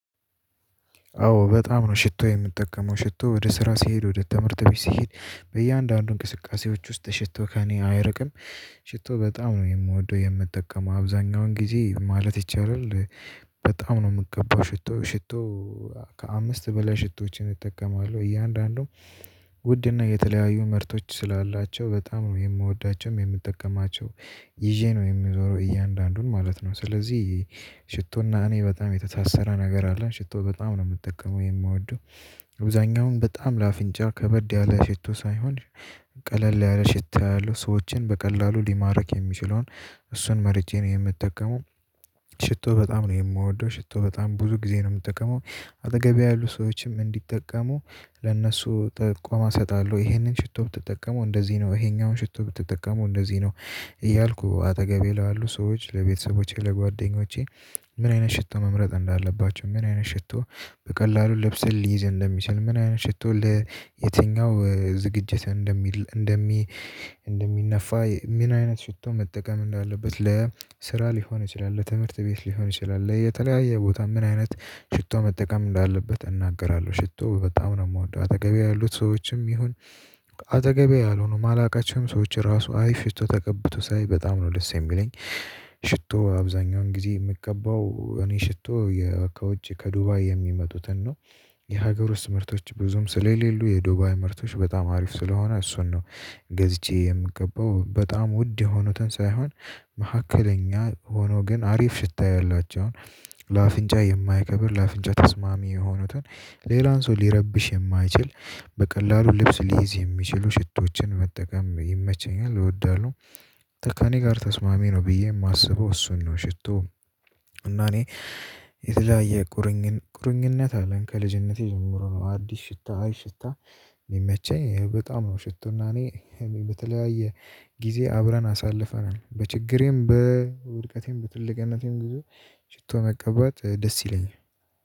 አዎ በጣም ነው ሽቶ የምጠቀመው ሽቶ ወደ ስራ ሲሄድ ወደ ትምህርት ቤት ሲሄድ በእያንዳንዱ እንቅስቃሴዎች ውስጥ ሽቶ ከእኔ አይርቅም። ሽቶ በጣም ነው የምወደው የምጠቀመው አብዛኛውን ጊዜ ማለት ይቻላል። በጣም ነው የምቀባው ሽቶ ሽቶ። ከአምስት በላይ ሽቶዎችን እጠቀማለሁ እያንዳንዱም ውድ እና የተለያየ ምርቶች ስላላቸው በጣም ነው የምወዳቸውም የምጠቀማቸው። ይዤ ነው የምዞረው እያንዳንዱን ማለት ነው። ስለዚህ ሽቶና እኔ በጣም የተሳሰረ ነገር አለን ሽቶ በጣም ነው የምጠቀመው የምወደው። አብዛኛውን በጣም ለአፍንጫ ከበድ ያለ ሽቶ ሳይሆን። ቀለል ያለ ሽታ ያለው ሰዎችን በቀላሉ ሊማርክ የሚችለውን እሱን መርጬ ነው የምጠቀመው። ሽቶ በጣም ነው የምወደው ሽቶ በጣም ብዙ ጊዜ ነው የምጠቀመው። አጠገቤ ያሉ ሰዎችም እንዲጠቀሙ ለእነሱ ጠቋማ እሰጣለሁ ይሄንን ሽቶ ብትጠቀመው እንደዚህ ነው ይሄኛውን ሽቶ ብትጠቀመው እንደዚህ ነው። እያልኩ አጠገቤ ላሉ ሰዎች ለቤተሰቦቼ ለጓደኞቼ። ምን አይነት ሽቶ መምረጥ እንዳለባቸው ምን አይነት ሽቶ። በቀላሉ ለብሰን ሊይዝ እንደሚሰል ምን አይነት ሽቶ ለየትኛው ዝግጅት እንደሚል እንደሚ እንደሚነፋ ምን አይነት ሽቶ መጠቀም እንዳለበት ለ ስራ ሊሆን ይችላል ለትምህርት ቤት ሊሆን ይችላል የተለያየ ቦታ ምን አይነት ሽቶ መጠቀም እንዳለበት እናገራለሁ። ሽቶ በጣም ነው የምወደው። አተገቤ ያሉት ሰዎችም ይሁን አጠገቤ ያልሆኑም ማላውቃቸውም ሰዎች ራሱ አይ ሽቶ ተቀብቶ ሳይ በጣም ነው ደስ የሚለኝ። ሽቶ አብዛኛውን ጊዜ የምቀገባው እኔ ሽቶ የአካውንት ከዱባይ የሚመጡትን ነው። የሀገር ውስጥ ምርቶች ብዙም ስለሌሉ የዱባይ ምርቶች በጣም አሪፍ ስለሆነ እሱን ነው። ገዝቼ የምቀባው በጣም ውድ የሆኑትን ሳይሆን። መካከለኛ ሆኖ ግን አሪፍ ሽታ ያላቸው ለአፍንጫ የማይከብድ ለአፍንጫ ተስማሚ የሆኑትን ሌላን ሰው ሊረብሽ የማይችል በቀላሉ ልብስ ሊይዝ የሚችሉ ሽቶችን መጠቀም ይመቸኛል እወዳለሁ። ተካኔ ጋር ተስማሚ ነው ብዬ የማስበው እሱን ነው ሽቶ። እና እኔ የተለያየ ቁርኝነት አለን ከልጅነቴ ጀምሮ ነው አዲስ ሽታ አሪፍ ሽታ። የሚመቸኝ በጣም ነው ሽቶና እኔ በተለያየ ጊዜ አብረን አሳልፈናል። በችግሬም በውድቀቴም በትልቅነቴም ግዙፍ ሽቶ መቀበል ደስ ይለኛል።